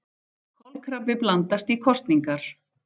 Kolkrabbi blandast í kosningar